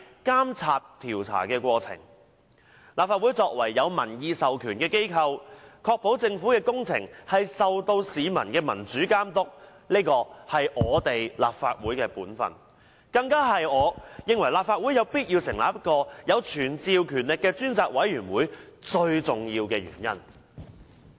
立法會作為有民意授權的機構，確保政府工程受到市民的民主監督，是立法會的本分，更是我認為立法會有必要成立一個有傳召權力的專責委員會的最重要原因。